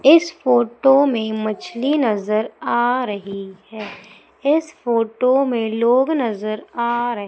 इस फोटो में मछली नजर आ रही है। इस फोटो में लोग नजर आ रहे--